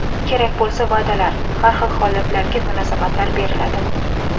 Kerak bo‘lsa, va’dalar, har xil holatlarga munosabatlar beriladi.